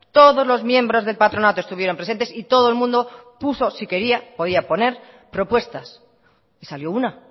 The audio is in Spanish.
todos los miembros del patronato estuvieron presentes y todo el mundo puso si quería podía poner propuestas y salió una